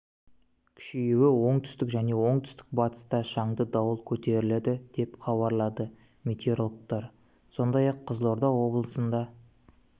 күшеюі оңтүстік және оңтүстік батыста шаңды дауыл көтеріледі деп хабарлады метеорологтар сондай ақ қызылорда облысында